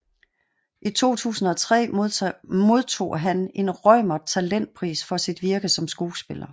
I 2003 modtog han en Reumert talentpris for sit virke som skuespiller